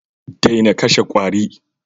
Daina kashe kwari